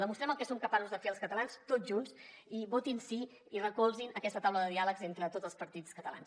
demostrem el que som capaços de fer els catalans tots junts i votin sí i recolzin aquesta taula de diàleg entre tots els partits catalans